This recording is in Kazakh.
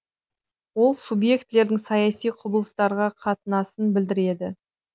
ол субъектілердің саяси құбылыстарға қатынасын білдіреді